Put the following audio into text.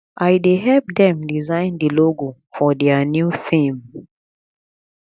i dey help dem design the logo for their new theme